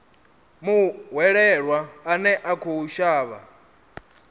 muhwelelwa ane a khou shavha